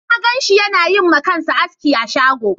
Na ganshi yana yi ma kansa aski a shagon